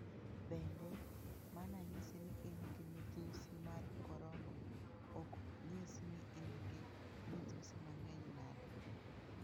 Bende, mana nyisi ni in gi midhusi mar corona ok nyis ni in gi midhusi mang'eny nade.